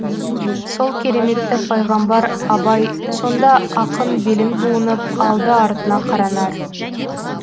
сол кереметті пайғамбар абай сонда ақын белін буынып алды артына қаранар